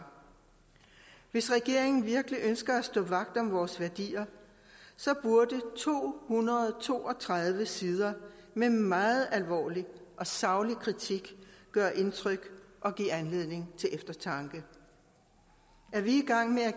hvis regeringen virkelig ønsker at stå vagt om vores værdier burde to hundrede og to og tredive sider med meget alvorlig og saglig kritik gøre indtryk og give anledning til eftertanke er vi